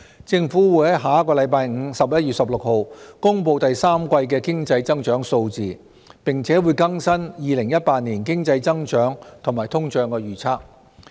政府會在下星期五公布第三季的經濟增長數字，並會更新2018年經濟增長及通脹預測。